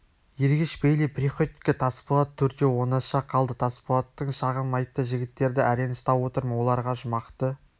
ергеш бейли приходько тасболат төртеуі оңаша қалды тасболат шағым айтты жігіттерді әрең ұстап отырмын оларға жұмақты